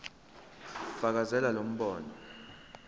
fakazela lo mbono